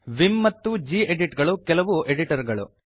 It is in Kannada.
ವಿಮ್ ಮತ್ತು ಗೆಡಿಟ್ ಗಳು ಕೆಲವು ಎಡಿಟರ್ ಗಳು